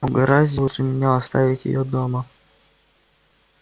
угораздило же меня оставить её дома